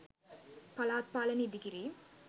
පළාත් පාලන ඉඳිකිරීම්